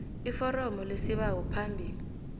iforomo lesibawo phambi